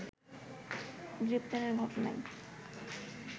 গ্রেফতারের ঘটনায়